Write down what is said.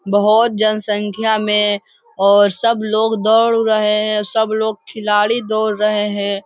बहुत जनसंख्या में और सब लोग दौड़ रहे है सब लोग खिलाड़ी दौड़ रहे है।